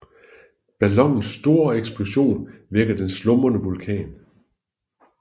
Ballonens store eksplosion vækker den slumrende vulkan